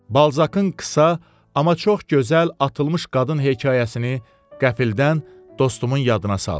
Balzakın qısa, amma çox gözəl atılmış qadın hekayəsini qəflətən dostumun yadına saldı.